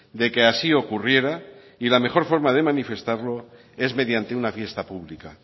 de que así ocurriera y la mejor forma de manifestarlo es mediante una fiesta pública